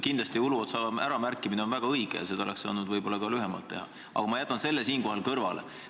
Kindlasti on Uluotsa äramärkimine väga õige, kuid võib-olla oleks seda saanud teha ka lühemalt, aga ma jätan selle siinkohal kõrvale.